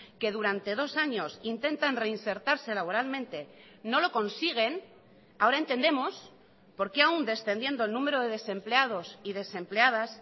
que durante dos años intentan reinsertarse laboralmente no lo consiguen ahora entendemos por qué aún descendiendo el número de desempleados y desempleadas